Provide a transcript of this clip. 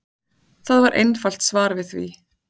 Það er einfalt svar við því.